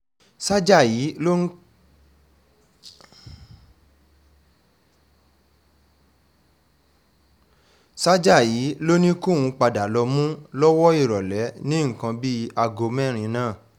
sájà yìí ló ní kóun padà lọ́ọ́ mú lọ́wọ́ ìrọ̀lẹ́ ní nǹkan bíi aago mẹ́rin náà